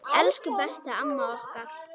Elsku besta amma okkar.